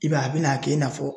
I b'a ye a bɛna kɛ i n'a fɔ